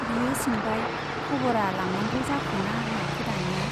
बियो सोंबाय, खबिरा लांनांगौ जाखोना माखो दानिया ?